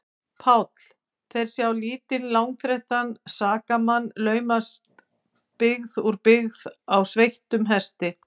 PÁLL: Þeir sjá lítinn, langþreyttan sakamann laumast byggð úr byggð á sveittum hesti.